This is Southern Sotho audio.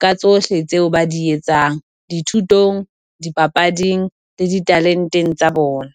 ka tsohle tseo ba di etsang dithutong, dipapading tsa di talenteng tsa bona.